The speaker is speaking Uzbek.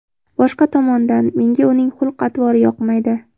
Boshqa tomondan, menga uning xulq-atvori yoqmaydi.